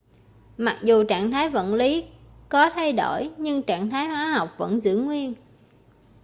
mặc dù trạng thái vật lí có thay đổi nhưng trạng thái hóa học vẫn giữ nguyên